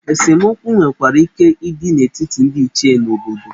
Esemokwu nwekwara ike ịdị n'etiti ndị Ichie obodo.